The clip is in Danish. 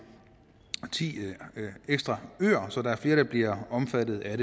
ti ekstra øer så der er flere der bliver omfattet af